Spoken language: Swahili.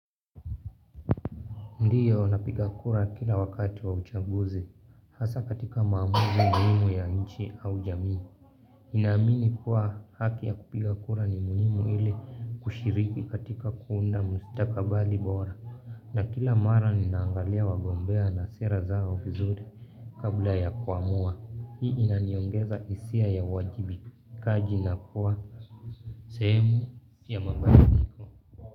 Ndiyo napiga kura kila wakati wa uchaguzi, hasa katika maamuzi muhimu ya nchi au jamii. Ninaamini kuwa haki ya kupiga kura ni unimu ile kushiriki katika kuunda mstakabali bora. Na kila mara ninaangalia wagombea na sera zao vizuri kabla ya kuamua. Hii inaniongeza hisia ya uwajibikaji na kuwa sehemu ya mabadiliko.